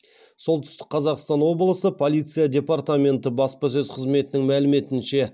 солтүстік қазақстан облысы полиция департаменті баспасөз қызметінің мәліметінше